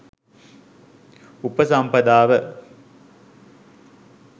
උපසම්පදාව